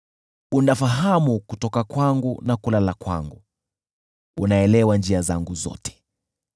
Unafahamu kutoka kwangu na kulala kwangu; unaelewa njia zangu zote.